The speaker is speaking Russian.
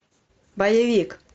боевик